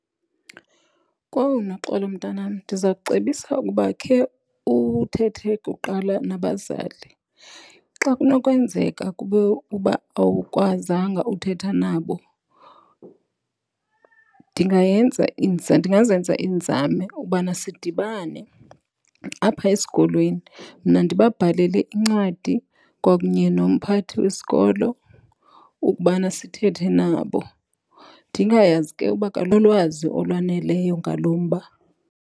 Kowu, Noxolo mntanam, ndiza kucebisa ukuba ukhe uthethe kuqala nabazali. Xa kunokwenzeka kube uba awukwazanga uthetha nabo ndingayenze ndingazenza iinzame ukubana sidibane apha esikolweni. Mna ndibabhalele incwadi kwakunye nomphathi wesikolo ukubana sithethe nabo. Ndingayazi ke uba nolwazi olwaneleyo ngalo mba.